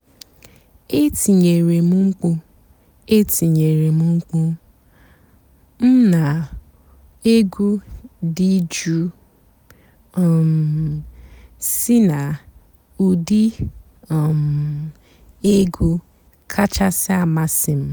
ètìnyéré m m̀kpú ètìnyéré m m̀kpú m nà ègwú dị́ jụ́ụ́ um sí nà ụ́dị́ um ègwú kàchàsị́ àmásị́ m.